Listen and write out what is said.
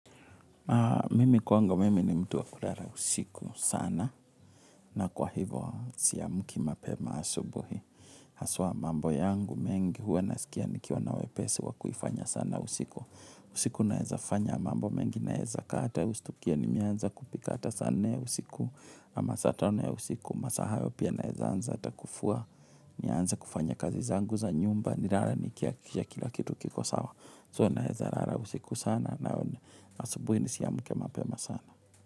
Mimi kwangu mimi ni mtu wa kulala usiku sana na kwa hivyo siamki mapema asubuhi. Haswa mambo yangu mengi huwa nasikia nikiwa na wepesi wa kuifanya sana usiku. Usiku naeza fanya mambo mengi naeza kata ustukie nimeanza kupika ata saa nne ya usiku. Saa tano ya usiku masaa hayo pia naeza anza ata kufua nianze kufanya kazi zangu za nyumba nilale nikihakikisha kila kitu kiko sawa. So naezalala usiku sana na asabuhi nisiamke mapema sana.